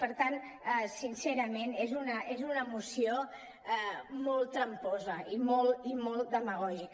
per tant sincerament és una moció molt tram·posa i molt demagògica